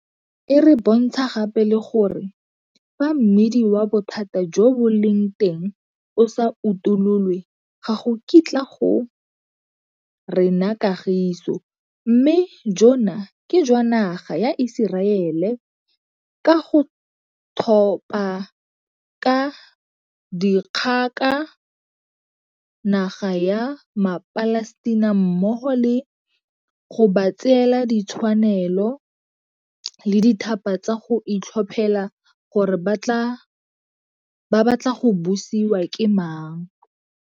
E re bontsha gape le gore fa mmidi wa bothata jo bo leng teng o sa utololwe ga go kitla go rena kagiso, mme jona ke jwa naga ya Iseraele ka go thopa ka dikgoka naga ya maPalestina mmogo le go ba tseela ditshwanelo le dithata tsa go itlhophela gore ba batla go busiwa ke mang.